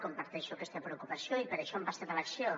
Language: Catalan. comparteixo aquesta preocupació i per això hem passat a l’acció